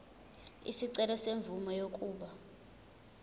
isicelo semvume yokuba